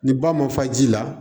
Ni ba ma fa ji la